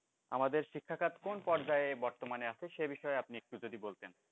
আমাদের শিক্ষাখাত কোন পর্যায়ে আছে বর্তমানে আছে সে বিষয়ে আপনি একটু যদি বলতেন